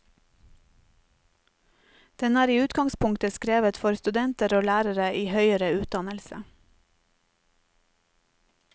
Den er i utgangspunktet skrevet for studenter og lærere i høyere utdannelse.